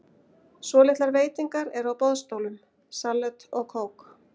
Svolitlar veitingar eru á boðstólum, salöt og kók.